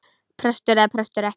Prestur eða prestur ekki.